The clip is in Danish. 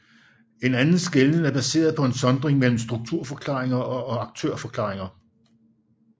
En anden skelnen er baseret på en sondring mellem strukturforklaringer og aktørforklaringer